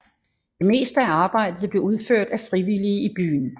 Det meste af arbejdet blev udført af frivillige i byen